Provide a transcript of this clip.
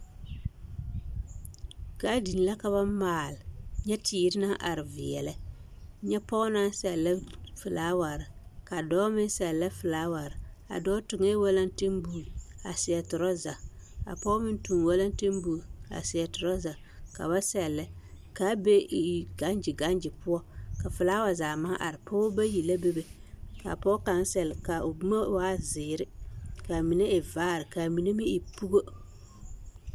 Gaadin la ka ba maale, nyɛ teere naŋ are veɛlɛ, nyɛ pɔge naŋ sɛlɛ felaaware ka dɔɔ meŋ sɛlɛ felaaware, a dɔɔ toŋɛɛ walantenboote a seɛ torɔza, a pɔge meŋ toŋ la walantenboote a seɛ torɔza ka ba sɛlɛ k'a be gaŋgye gaŋgye poɔ, ka felaawa zaa maŋ are, pɔgebɔ bayi la bebe, k'a pɔge kaŋ sɛle k'a o boma waa zeere k'a mine e vaare k'a mine meŋ e pugo.